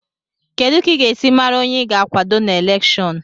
Kedu ka ị ga-esi mara onye ị ga-akwado na elèkshón